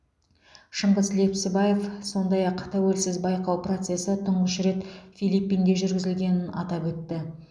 шыңғыс лепсібаев сондай ақ тәуелсіз байқау процесі тұңғыш рет филиппинде жүргізілгенін атап өтті